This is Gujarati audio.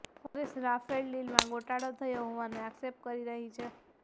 કોંગ્રેસ રાફેલ ડીલમાં ગોટાળો થયો હોવાનો આક્ષેપ કરી રહી છે